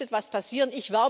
Hier muss etwas passieren!